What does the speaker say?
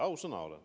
Ausõna olen.